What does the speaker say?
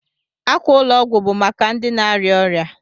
Ákwà ụlọ ọgwụ bụ maka ndị na-arịa ọrịa.